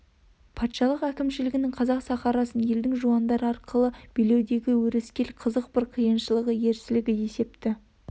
патшалық әкімшілігінің қазақ сахарасын елдің жуандары арқылы билеудегі өрескел қызық бір қиыншылығы ерсілігі есепті